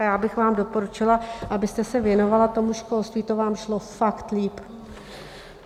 A já bych vám doporučila, abyste se věnovala tomu školství, to vám šlo fakt lépe.